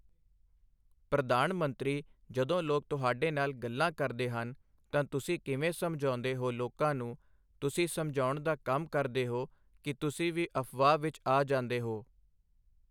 ਪ੍ਰਧਾਨ ਮੰਤਰੀ ਜਦੋਂ ਲੋਕ ਤੁਹਾਡੇ ਨਾਲ ਗੱਲਾਂ ਕਰਦੇ ਹਨ ਤਾਂ ਤੁਸੀਂ ਕਿਵੇਂ ਸਮਝਾਉਂਦੇ ਹੋ ਲੋਕਾਂ ਨੂੰ, ਤੁਸੀਂ ਸਮਝਾਉਣ ਦਾ ਕੰਮ ਕਰਦੇ ਹੋ ਕਿ ਤੁਸੀਂ ਵੀ ਅਫ਼ਵਾਹ ਵਿੱਚ ਆ ਜਾਂਦੇ ਹੋ?